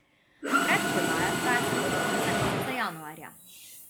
Predprodaja traja samo do konca meseca januarja.